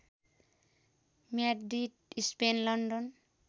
Madrid Spain London